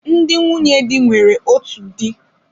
Ndị nwunye di nwere otu di.